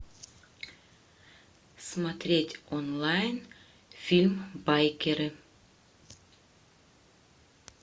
смотреть онлайн фильм байкеры